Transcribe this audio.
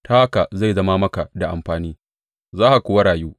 Ta haka zai zama maka da amfani, za ka kuwa rayu.